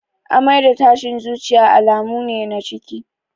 Amai da tashin zuciya alamu ne na ciki